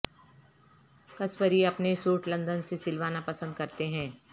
قصوری اپنے suit London سے سلوانا پسند کرتے ہیں